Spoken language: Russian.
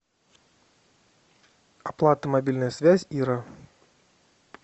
оплата мобильная связь ира